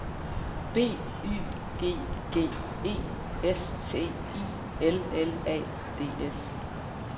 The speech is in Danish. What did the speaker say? B Y G G E S T I L L A D S